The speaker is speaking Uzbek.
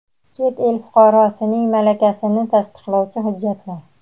chet el fuqarosining malakasini tasdiqlovchi hujjatlar;.